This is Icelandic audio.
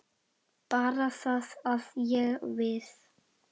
Bara það að ég. við.